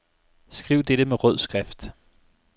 Skriv dette med rød skrift.